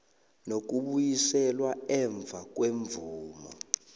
nokubuyiselwa emva kwemvumo